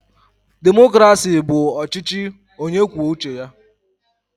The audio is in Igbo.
Demokrasi bụ ọchịchị onye kwuo uche ya.